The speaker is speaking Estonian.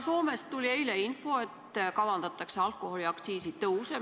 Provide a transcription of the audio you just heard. " Soomest tuli eile info, et kavandatakse alkoholiaktsiisi tõuse.